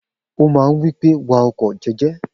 O máa ń wí pé, wa ọkọ̀ jẹ́jẹ́.